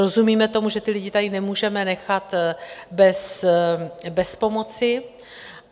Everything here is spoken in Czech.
Rozumíme tomu, že ty lidi tady nemůžeme nechat bez pomoci.